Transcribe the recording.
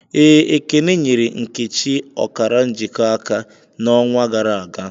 ee, Ekene nyere nkechi okara njiko aka, na'onwa gara aga.